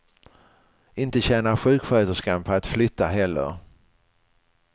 Inte tjänar sjuksköterskan på att flytta heller.